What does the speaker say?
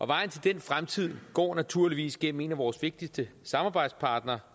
vejen til den fremtid går naturligvis igennem en af vores vigtigste samarbejdspartnere